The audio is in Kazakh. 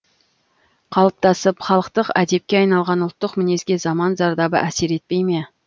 қалыптасып халықтық әдепке айналған ұлттық мінезге заман зардабы әсер етпей ме